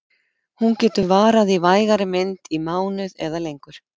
Hún getur varað í vægari mynd í mánuð eða lengur.